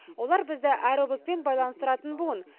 олар бізді әр облыспен байланыстыратын буын